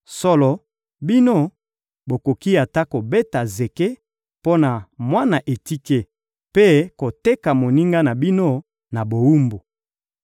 Solo, bino, bokoki ata kobeta zeke mpo na mwana etike mpe koteka moninga na bino na bowumbu!